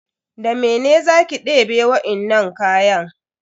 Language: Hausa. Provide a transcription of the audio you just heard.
Da mene za ki debe wainnan kayan?